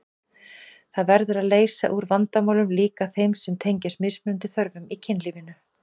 Það verður að leysa úr vandamálum, líka þeim sem tengjast mismunandi þörfum í kynlífinu.